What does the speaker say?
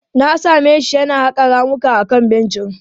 Na same shi yana haƙa ramuka akan benci.